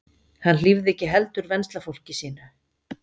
Hann hlífði ekki heldur venslafólki sínu.